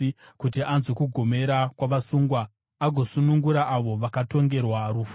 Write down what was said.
kuti anzwe kugomera kwavasungwa agosunungura avo vakatongerwa rufu.”